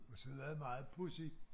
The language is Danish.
Og så var det meget pudsigt